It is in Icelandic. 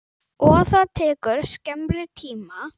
Og það tekur skemmri tíma.